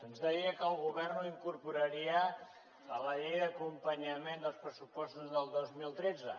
ens deia que el govern ho incorporaria a la llei d’acompanyament dels pressupostos del dos mil tretze